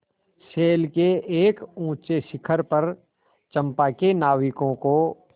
शैल के एक ऊँचे शिखर पर चंपा के नाविकों को